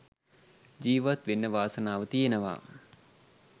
ජිවත් වෙන්න වාසනාව තියෙනවා.